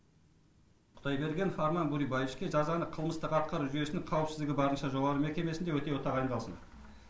құдайбергенов арман бөребаевичке жазаны қылмыстық атқару жүйесінің қауіпсіздігі барынша жоғары мекемесінде өтеуі тағайындалсын